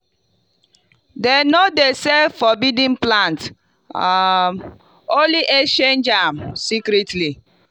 them no dey sell forbidden plants um only exchange am secretly.